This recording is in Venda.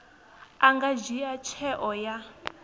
a nga dzhia tsheo ya